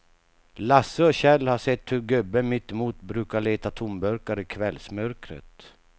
Lasse och Kjell har sett hur gubben mittemot brukar leta tomburkar i kvällsmörkret.